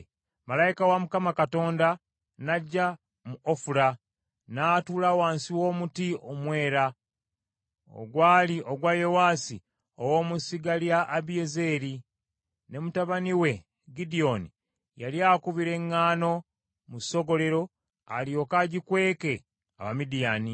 Malayika wa Mukama Katonda n’ajja mu Ofula, n’atuula wansi w’omuti omwera ogwali ogwa Yowaasi ow’omu ssiga lya Abiezeri: ne mutabani we Gidyoni yali akubira eŋŋaano mu ssogolero alyoke agikweke Abamidiyaani.